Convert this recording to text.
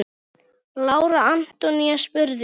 Lára Antonía spurði.